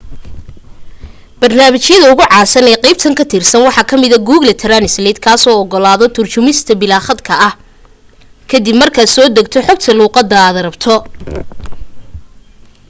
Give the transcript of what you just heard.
barnaamijyada ugu caansan ee qaybtan ka tirsan waxa ka mida google translate kaasoo ogolaada turjumista bilaa khadka ah ka dib markaad la soo degto xogta luqadaad rabto